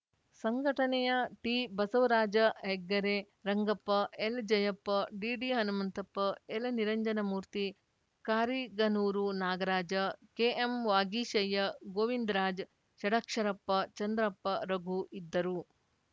ಸಂಘಟನೆಯ ಟಿಬಸವರಾಜ ಹೆಗ್ಗೆರೆ ರಂಗಪ್ಪ ಎಲ್‌ಜಯಪ್ಪ ಡಿಡಿಹನುಮಂತಪ್ಪ ಎಲ್‌ನಿರಂಜನಮೂರ್ತಿ ಕಾರಿಗನೂರು ನಾಗರಾಜ ಕೆಎಂವಾಗೀಶಯ್ಯ ಗೋವಿಂದರಾಜ ಷಡಕ್ಷರಪ್ಪ ಚಂದ್ರಪ್ಪ ರಘು ಇದ್ದರು